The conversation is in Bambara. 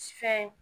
Fɛn